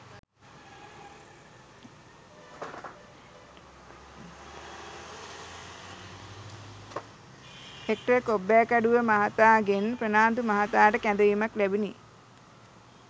hectare Kobbekaduwa මහතා ගෙන් ප්‍රනාන්දු මහතාට කැඳවීමක් ලැබුණි